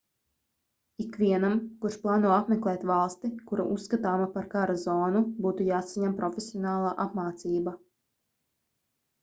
ikvienam kurš plāno apmeklēt valsti kura uzskatāma par kara zonu būtu jāsaņem profesionāla apmācība